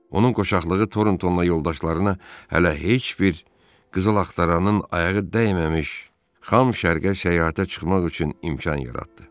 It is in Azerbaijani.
Onun qoçaqlığı Toronton'la yoldaşlarına hələ heç bir qızıl axtaranın ayağı dəyməmiş xam şərqə səyahətə çıxmaq üçün imkan yaratdı.